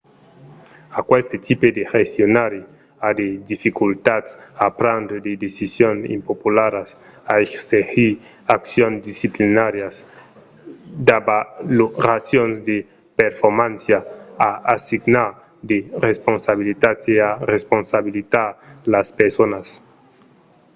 aqueste tipe de gestionari a de dificultats a prendre de decisions impopularas a exercir d'accions disciplinàrias d’avaloracions de performància a assignar de responsibilitats e a responsabilizar las personas